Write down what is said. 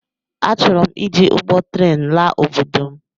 Achọrọm iji ụgbọ tren laa obodo m